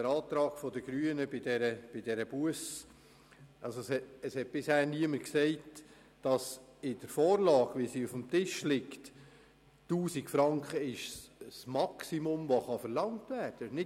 Zum Antrag der Grünen: Bisher hat niemand erwähnt, dass bezüglich der Busse 1000 Franken den Maximalbetrag darstellen, welcher verlangt werden kann.